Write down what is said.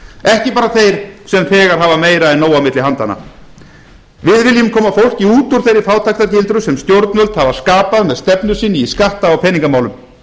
ekki bara þeir sem þegar hafa meira en nóg á milli handanna við viljum koma fólki út úr þeirri fátæktargildru sem stjórnvöld hafa skapað með stefnu sinni í skatta og peningamálum